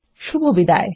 শুভবিদায়